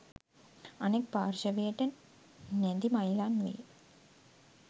අනෙක් පාර්ශවයට නැදි මයිලන් වේ.